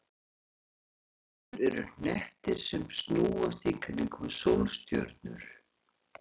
Reikistjörnur eru hnettir sem snúast í kringum sólstjörnur.